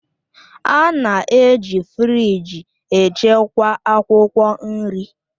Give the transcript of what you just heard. A na-eji firịj echekwa akwụkwọ nri